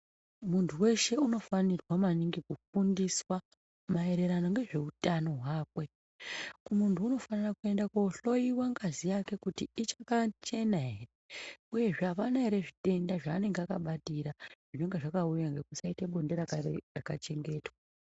Muntu wese unofanirwa maningi kufundiswa maererano nezveutano hwakwe. Munthu unofanira kuende kohloyiwa ngazi yake kuti ichakachena ere uyezve apana ere zvitenda zvanenge akabatira zvinenge zvakauya ngekuite bonde risina kuchengetwa